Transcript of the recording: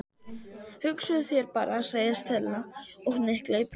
Hugsaðu þér bara- sagði Stella og hnyklaði brýnnar.